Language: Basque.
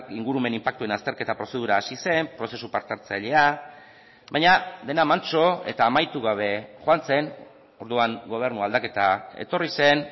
ingurumen inpaktuen azterketa prozedura hasi zen prozesu parte hartzailea baina dena mantso eta amaitu gabe joan zen orduan gobernu aldaketa etorri zen